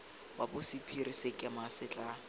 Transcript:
wa bosephiri sekema se tla